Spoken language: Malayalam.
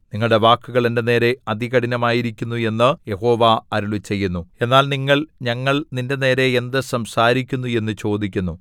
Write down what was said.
നിങ്ങളുടെ വാക്കുകൾ എന്റെ നേരെ അതികഠിനമായിരിക്കുന്നു എന്നു യഹോവ അരുളിച്ചെയ്യുന്നു എന്നാൽ നിങ്ങൾ ഞങ്ങൾ നിന്റെനേരെ എന്ത് സംസാരിക്കുന്നു എന്നു ചോദിക്കുന്നു